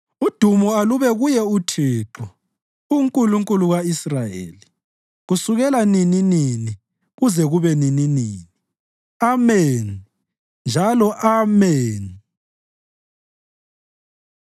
Udumo alube kuye uThixo, uNkulunkulu ka-Israyeli, kusukela nininini kuze kube nininini. Ameni njalo Ameni!